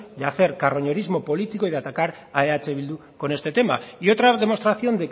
de hacer carroñerismo político y de atacar a eh bildu con este tema y otra demostración